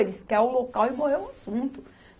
Eles quer o local e morreu o assunto.